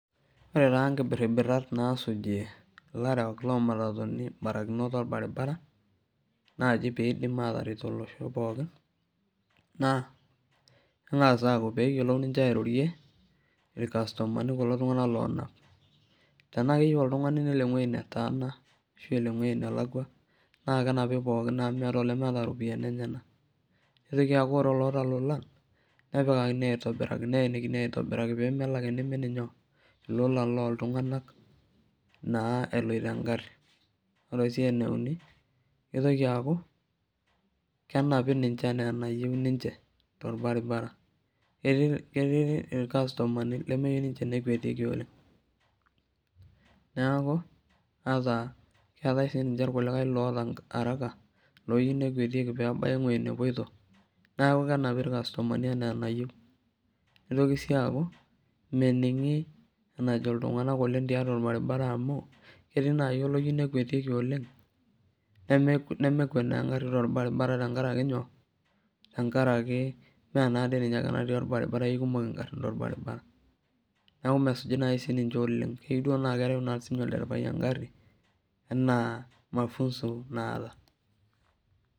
Ore taa nkiberiberat naasuji ilarewak loomatatuni imborakinot orbaribara naa ji peeidim aataret olosho pookin naa peeng'as ayiolo airorie irkasutumani kuko tung'anak loonap tenaa keyieu oltung'ani nelo ewueji netaana ashua elo ewueji nelakwa naa kenapi pookin amu meeta olemeeta irpayiani enyanak neitoki aaku ore olaata ilolan neenikini aitibiraki peemelo ake neimi inyoo ilolan loontung'anak naa eloito engari ore sii eneuni keitoki aaku kenapi ninche enaa enayieu ninche torbaribara ketii irkasutami lemeyieu tenemwetieki oleng neeku ata keetai sii irkulikae loyieu nekwetieki peebaya enepoito neeku kenapi irkasutumani enaa enayieu neitoki sii aaku meningi enejo iltung'anak tiatu orbaribara amu ketii naaji oloyieu nekwetiki oleng nemekwet naa engari torbaribara tenkaraki nyoo meenaadoi ninye ake natii orbaribara keikukom ingarin torbaribara neeku mesuji naaji siininche keyieu duo naa kereu olderefai engari ena mafunso naata